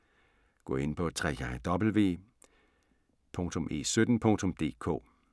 Gå ind på www.e17.dk